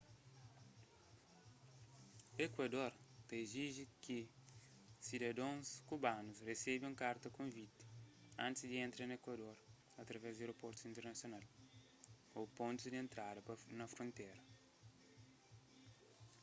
ekuador ta iziji ki sidadons kubanus resebe un karta konviti antis di entra na ekuador através di aeroportus internasional ô pontus di entrada na frontéra